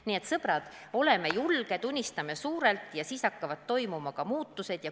Nii et, sõbrad, oleme julged, unistame suurelt ja siis hakkavad toimuma muutused.